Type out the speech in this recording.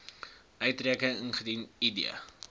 uitreiking indien id